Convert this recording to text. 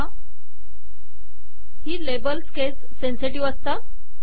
ही labels case sensitive असतात